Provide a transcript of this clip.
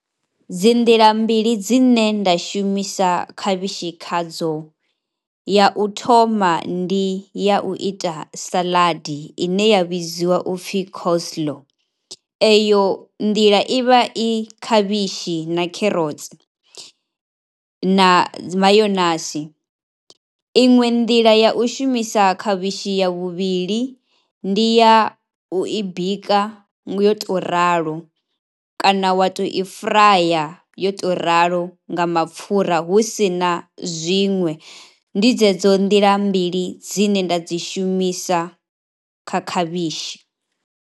Dzi nḓila mbili dzine nda shumisa khavhishi khadzo, ya u thoma ndi ya u ita saladie ine ya vhidziwa u pfhi Coslow, eyo nḓila i vha i khavhishi na kherotsi na mayonasi. Iṅwe nḓila ya u shumisa khavhishi ya vhuvhili, ndi ya u i bika nga yo tou ralo kana wa u tou i furaya yo tou ralo nga mapfhura, hu si na zwiṅwe, ndi dzedzo nḓila mbili dzine nda dzi shumisa kha khavhishi.